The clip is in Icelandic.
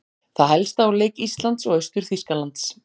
Það helsta úr leik Íslands og Austur-Þýskalands